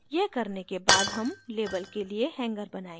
यह करने के बाद हम label के लिए hanger बनायेंगे